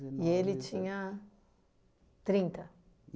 E ele tinha trinta?